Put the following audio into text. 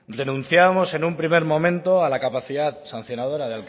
renunciábamos en un primer momento a la capacidad sancionadora